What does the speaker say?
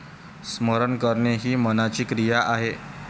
स्मरण करणे हि मनाची क्रिया आहे.